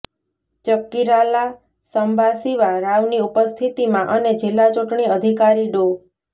ચકકીરાલા સમ્બાસિવા રાવની ઉપસ્થિતીમાં અને જિલ્લા ચુંટણી અધિકારી ડો